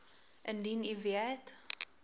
indien u weet